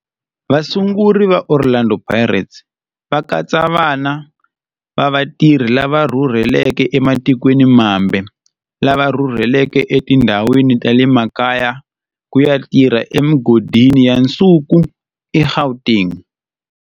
Vasunguri va Orlando Pirates va katsa vana va vatirhi lava rhurhelaka ematikweni mambe lava rhurheleke etindhawini ta le makaya ku ya tirha emigodini ya nsuku eGauteng.